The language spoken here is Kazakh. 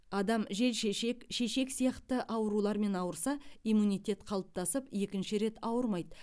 адам желшешек шешек сияқты аурулармен ауырса иммунитет қалыптасып екінші рет ауырмаиды